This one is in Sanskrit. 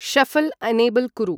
शऴल् एनेबल् कुरु ।